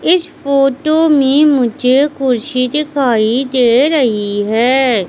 इस फोटो में मुझे कुर्सी दिखाई दे रही है।